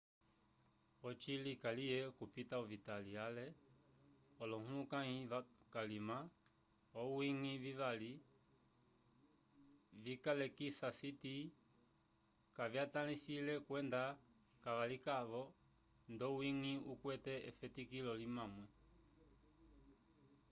eci kaliye okupita ovita ale olohulukãyi kalima owiñgi vivali vikalilekisa siti kavyaltisetahãlele kwenda kavakavilikiwa ndowiñgi ukwete efetikilo limwamwe